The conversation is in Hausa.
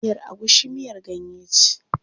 Miyar agushi miyar ganye ce.